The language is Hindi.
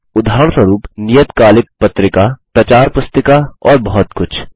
उदाहरणस्वरुप नियतकालिक पत्रिका प्रचार पुस्तिका और बहुत कुछ